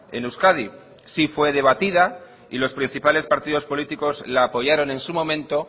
en euskadi sí fue debatida y los principales partidos políticos la apoyaron en su momento